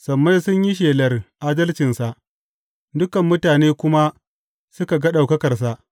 Sammai sun yi shelar adalcinsa, dukan mutane kuma suka ga ɗaukakarsa.